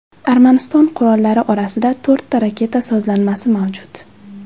Armaniston qurollari orasida to‘rtta raketa sozlanmasi mavjud.